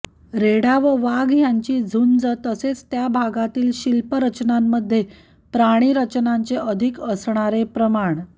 रेडा व वाघ यांची झुंज तसेच त्या भागातील शिल्परचनांमध्ये प्राणीरचनांचे अधिक असणारे प्रमाण